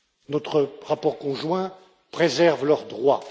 Notre rapport conjoint préserve leurs droits.